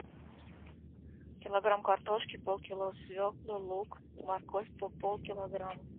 килограмм картошки полкило свеклы лук морковь полкилограмма